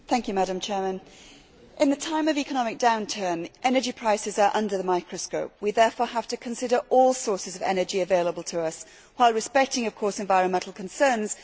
Madam President, in the time of economic downturn energy prices are under the microscope. We therefore have to consider all sources of energy available to us while respecting, of course, environmental concerns.